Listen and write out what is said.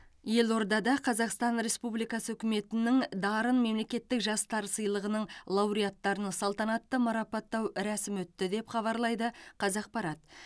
елордада қазақстан республикасы үкіметінің дарын мемлекеттік жастар сыйлығының лауреаттарын салтанатты марапаттау рәсімі өтті деп хабарлайды қазақпарат